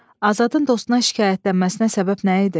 Azadın dostuna şikayətlənməsinə səbəb nə idi?